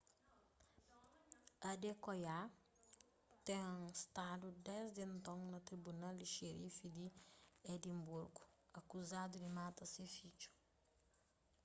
adekoya ten stadu desdi enton na tribunal di xerifi di edinburgu akuzadu di mata se fidju